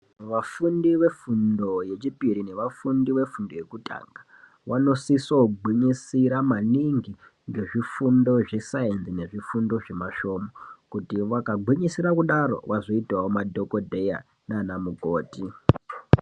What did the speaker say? Vafundi vefundo yechipiri nevafundi vefundo yekutanga vanosise gwinyisire maningi muzvifundo zve sainzi nezvifundo zvemasvomhu kuti vakagwisira kudaro vazoitawo madhokodheya nana mukoti .